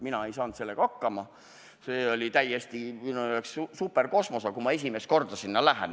Mina ei saanud sellega hakkama, see oli minu jaoks täielik superkosmos, kui ma sinna esimest korda läksin.